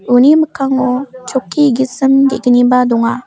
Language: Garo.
uni mikkango chokki gisim ge·gniba donga.